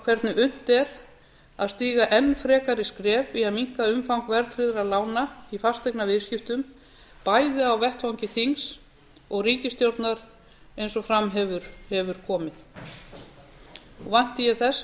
hvernig unnt er að stíga enn frekari skref í að minnka umfang verðtryggðra lána í fasteignaviðskiptum bæði á vettvangi þings og ríkisstjórnar eins og fram hefur komið og vænti ég þess að